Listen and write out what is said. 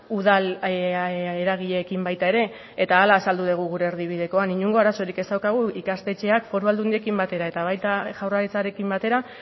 udal eragileekin baita ere eta hala azaldu dugu gure erdibidekoan inongo arazorik ez daukagu ikastetxeak foru aldundiekin batera eta baita jaurlaritzarekin batera